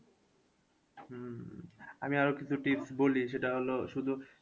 হম হম আমি আরও কিছু tips বলি সেটা হলো শুধু